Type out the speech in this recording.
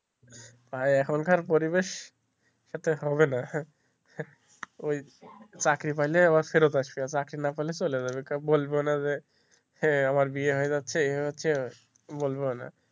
এখনকার পরিবেশ সাথে হবে না ওই চাকরি পাইলে আবার ফেরত আসবে চাকরি না পেলে চলে যাবে বলবে না যে আমার বিয়ে হয়ে যাচ্ছে এই বলবে ও না.